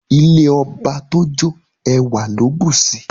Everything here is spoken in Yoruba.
Ilé ọba t'o jo, ewa lo busi